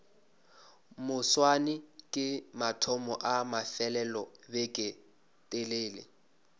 moswane ke mathomo a mafelelobeketelele